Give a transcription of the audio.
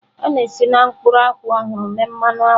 A na-esi na mkpụrụ akwụ ọhụrụ mee mmanụ akwụ